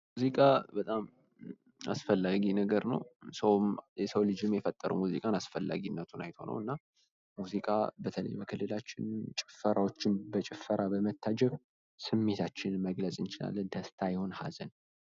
ሙዚቃ በጣም አስፈላጊ ነገር ነው፤ የሰው ልጅም የፈጠረው ሙዚቃን አስፈላጊነቱን አይቶ ነው እና ሙዚቃ በተለይም በክልላችን ጭፈራዎችም በጭፈራ በመታጀብ ስሜታችንን መግለጽ እንችላለን። ደስታ ይሁን ሃዘን።